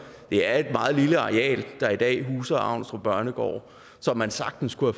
det er et meget lille areal der i dag huser avnstrup børnegård som man sagtens kunne